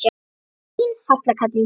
Þín Halla Katrín.